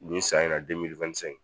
Nin san in na